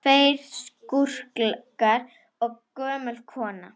Tveir skúrkar og gömul kona